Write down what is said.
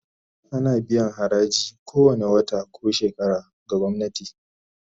Ana biyan haraji kowane wata ko shekara ga gwamnati